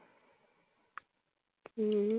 হম